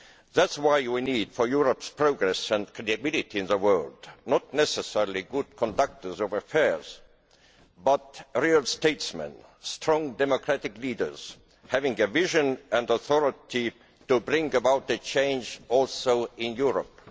That is why we need for Europe's progress and credibility in the world not necessarily good conductors of affairs but real statesmen, strong democratic leaders having a vision and authority to bring about a change also in Europe.